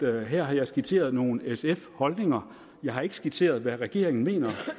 her har skitseret nogle sf holdninger jeg har ikke skitseret hvad regeringen mener